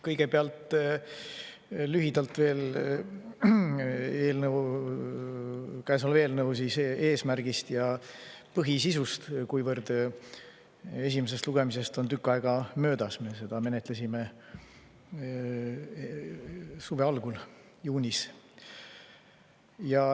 Kõigepealt lühidalt veel käesoleva eelnõu eesmärgist ja põhisisust, kuivõrd esimesest lugemisest on tükk aega möödas, me ju menetlesime seda suve algul, juunis.